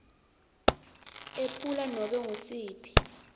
ephula nobe ngusiphi